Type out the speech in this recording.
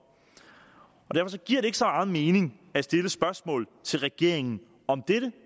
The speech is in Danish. og derfor giver det ikke så meget mening at stille spørgsmål til regeringen om dette